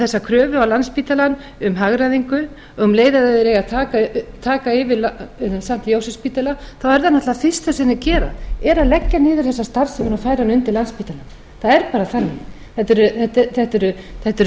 þessa kröfu á landspítalann um hagræðingu um leið og þeir eiga að taka yfir st jósefsspítala er það náttúrlega það fyrsta sem þeir gera er að leggja niður þessa starfsemi og færa hana